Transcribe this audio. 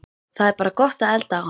Það er bara gott að elda á henni